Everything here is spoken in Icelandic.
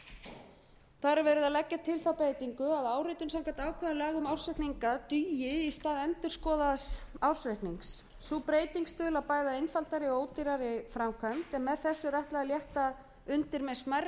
að leggja til þá breytingu að áritun samkvæmt ákvæðum laga um ársreikninga dugi í stað endurskoðaðs ársreiknings sú breyting stuðlar bæði að einfaldari og ódýrari framkvæmd sem með þessu er ætlað að létta undir með smærri